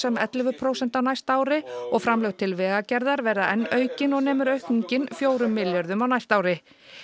um ellefu prósent á næsta ári framlög til vegagerðar verða enn aukin og nemur aukningin fjórum milljörðum á næsta ári